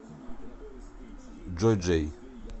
джой джей